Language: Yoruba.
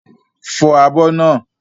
Fọ àbọ̀ naa!